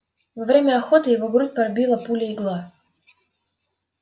во время охоты его грудь пробила пуля-игла